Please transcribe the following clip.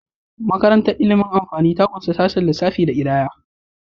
Makarantar ilimin amfani ta ƙunshi sashen lissafi da kididdiga.